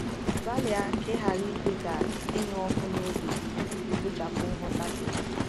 Gbalịa ka ịghara ikwe ka ịnụ ọkụ n’obi gị kpochapụ nghọta gị.